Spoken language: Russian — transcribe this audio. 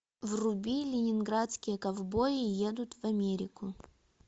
вруби ленинградские ковбои едут в америку